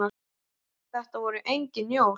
Þetta voru engin jól.